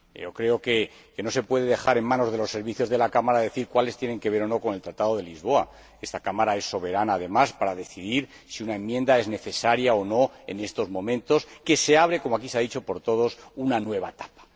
Creo que no se puede dejar en manos de los servicios de la Cámara decir cuáles tienen que ver o no con el Tratado de Lisboa. Esta Cámara es soberana, además, para decidir si una enmienda es necesaria o no en estos momentos en que se abre como aquí se ha dicho por todos una nueva etapa.